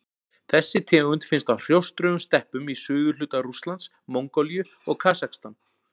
Þessi tegund finnst á hrjóstrugum steppum í suðurhluta Rússlands, Mongólíu og Kasakstan.